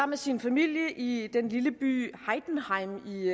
med sin familie i den lille by heidenheim i